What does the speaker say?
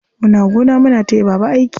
Muna gona muna taya baba aiki.